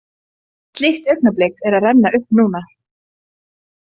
Slíkt augnablik er að renna upp núna.